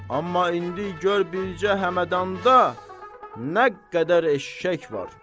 Amma indi gör bircə Həmədanda nə qədər eşşək var.